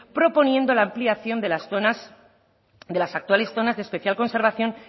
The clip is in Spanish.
proponiendo la ampliación de las zonas de las actuales zonas de especial conservación